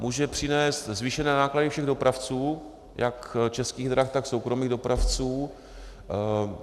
Může přinést zvýšené náklady všech dopravců, jak Českých drah, tak soukromých dopravců.